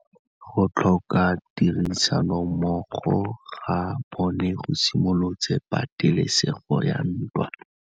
Go tlhoka tirsanommogo ga bone go simolotse patêlêsêgô ya ntwa.